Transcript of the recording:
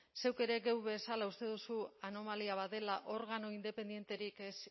zeuk ere geuk bezala uste duzu anomalia bat dela organo independenterik ez